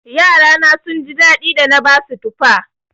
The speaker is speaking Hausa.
Yarana sun ji daɗi da na basu tufa.